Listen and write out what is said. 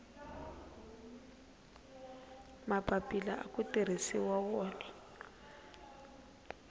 mapapila aku tirhisiwa wona